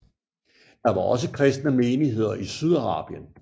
Der var også kristne menigheder i Sydarabien